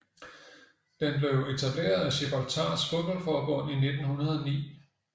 Den blev etableret af Gibraltars fodboldforbund i 1909